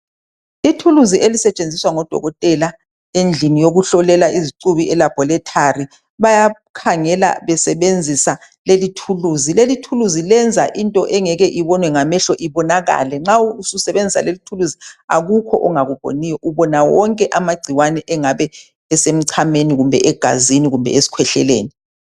Lelithulizi lapho okusebenza khona odokotela bayakhangela nxa besebenzisa ukubona ngalelo thulisi imichamo lokunye akula ongeke ukubone nxa usebenzisa leli thulisi.